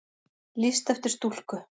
Lýst eftir stúlku